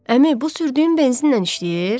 Əmi, bu sürdüyün benzinlə işləyir?